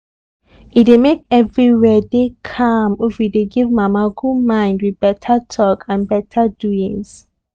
e dey make everywhere dey calm if we dey give mama good mind with beta talk and beta doings